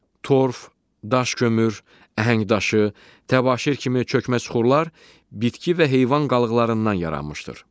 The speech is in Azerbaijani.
Torf, daş kömür, əhəngdaşı, təbaşir kimi çökmə suxurlar bitki və heyvan qalıqlarından yaranmışdır.